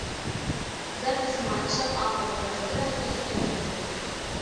запись матча апл лестера и эвертона